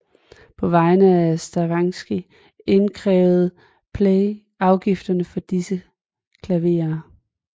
På vegne af Stravinskij indkrævede Pleyel afgifterne for disse klaverer